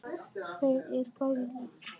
Þau er bæði látin.